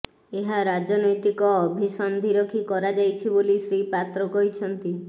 ଏହା ରାଜନୈତିକ ଅଭିସନ୍ଧି ରଖି କରାଯାଇଛି ବୋଲି ଶ୍ରୀ ପାତ୍ର କହିଛନ୍ତି